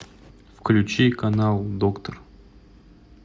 включи канал доктор